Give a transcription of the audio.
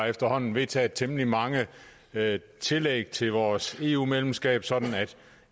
efterhånden vedtaget temmelig mange tillæg til vores eu medlemskab sådan at